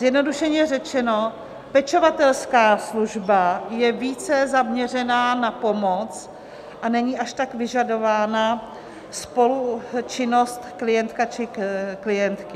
Zjednodušeně řečeno, pečovatelská služba je více zaměřena na pomoc a není až tak vyžadována spolučinnost klienta či klientky.